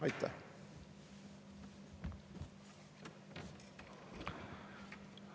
Aitäh!